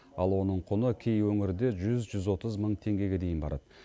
ал оның құны кей өңірде жүз жүз отыз мың теңгеге дейін барады